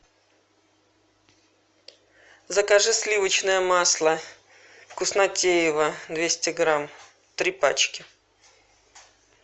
закажи сливочное масло вкуснотеево двести грамм три пачки